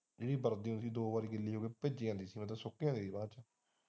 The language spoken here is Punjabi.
ਜਿਹਦੀ ਵਰਦੀ ਗੀਲੀ ਹੋ ਜਾਂਦੀ ਸੀ ਉਹ ਸੌਕ ਜਾਂਦੀ ਸੀ ਬਾਅਦ ਵਿੱਚ।